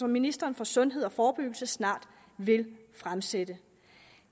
ministeren for sundhed og forebyggelse snart vil fremsætte